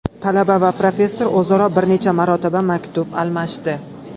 Talaba va professor o‘zaro bir necha marotaba maktub almashdi.